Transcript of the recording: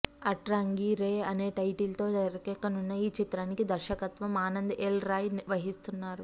అట్రాంగి రే అనే టైటిల్ తో తెరకెక్కుతున్న ఈ చిత్రానికి దర్శకత్వం ఆనంద్ ఎల్ రాయ్ వహిస్తున్నారు